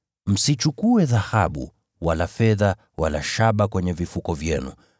Msichukue dhahabu, wala fedha, wala shaba kwenye vifuko vyenu.